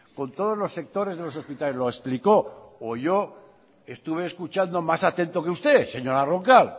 con todos los sectores de los hospitales lo explicó o yo estuve escuchando más atento que usted señora roncal